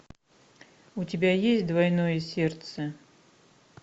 у тебя есть двойное сердце